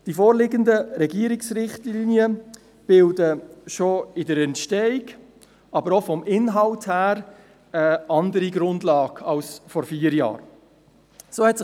Die vorliegenden Regierungsrichtlinien bilden schon hinsichtlich ihrer Entstehung, aber auch vom Inhalt her gesehen eine andere Grundlage als dies vor vier Jahren der Fall war.